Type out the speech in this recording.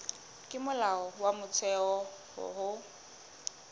ke molao wa motheo ho